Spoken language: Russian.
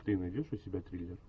ты найдешь у себя триллер